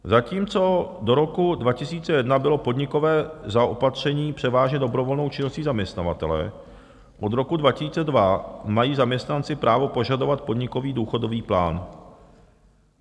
Zatímco do roku 2001 bylo podnikové zaopatření převážně dobrovolnou činností zaměstnavatele, od roku 2002 mají zaměstnanci právo požadovat podnikový důchodový plán.